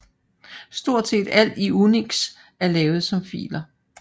Stort set alt i UNIX er lavet som filer